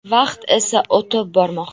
Vaqt esa o‘tib bormoqda.